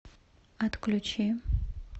отключи